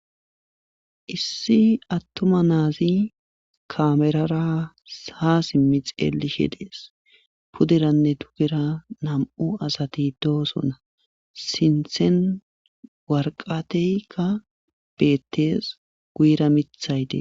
Issi attuma naazi kaamerara sa simmi xeelishe dees puderanne tugira nam7u asati dooso na sinthen warqateykka beettes guyira mithayde